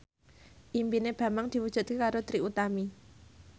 impine Bambang diwujudke karo Trie Utami